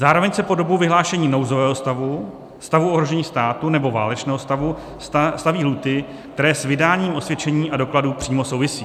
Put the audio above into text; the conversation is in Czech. Zároveň se po dobu vyhlášení nouzového stavu, stavu ohrožení státu nebo válečného stavu staví lhůty, které s vydáním osvědčení a dokladů přímo souvisí.